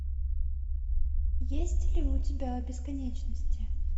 есть ли у тебя о бесконечности